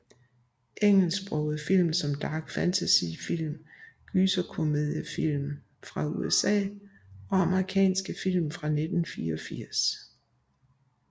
Engelsksprogede film Dark fantasy film Gyserkomediefilm fra USA Amerikanske film fra 1984